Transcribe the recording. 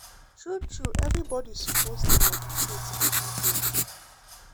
true true everybody suppose dey meditate every day.